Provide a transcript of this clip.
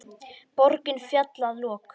Borgin féll að lokum.